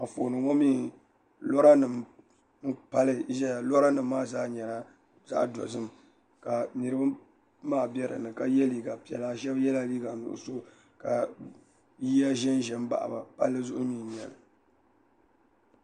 Anfooni ŋɔmi Lora nim paliziya loranim maa zaa. nyɛla. zagdozim kaniribi maa bɛ din ni ka yɛ liigapela kashɛbi yɛ liiga nuɣiso ka yiya shin baɣiba pali Zhou n nyɛli